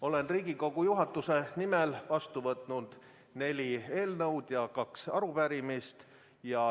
Olen Riigikogu juhatuse nimel vastu võtnud neli eelnõu ja kaks arupärimist.